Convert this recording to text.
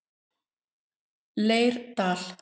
Leirdal